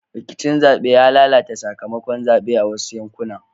Rikicin zaɓe ya lalata sakamakon zaɓen a wasu yankunan